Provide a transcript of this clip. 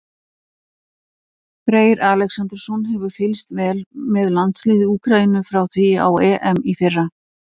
Freyr Alexandersson hefur fylgst vel með landsliði Úkraínu frá því á EM í fyrra.